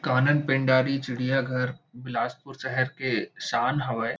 कानन पेंडारी चिड़ियाघर बिलासपुर शहर के शान हावे--